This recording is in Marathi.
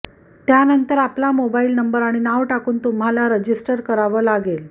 त्यानंतर आपला मोबाईल नंबर आणि नाव टाकून तुम्हाला रजिस्टर करावं लागेल